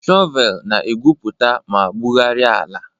Shọvel na-egwupụta ma bugharịa ala.